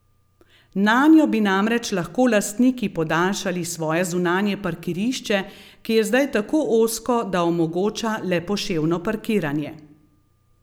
Nanjo bi namreč lahko lastniki podaljšali svoje zunanje parkirišče, ki je zdaj tako ozko, da omogoča le poševno parkiranje.